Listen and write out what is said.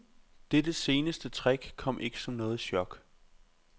Dette seneste trick kom ikke som noget chok.